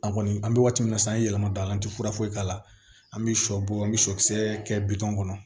A kɔni an bɛ waati min na sisan an ye yɛlɛma don an tɛ fura foyi k'a la an bɛ shɔ bɔ an bɛ sɔkisɛ kɛ bitɔn kɔnɔ